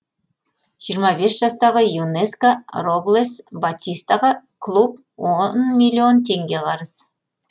жиырма бес жастағы юнеска роблес батистаға клуб он миллион теңге қарыз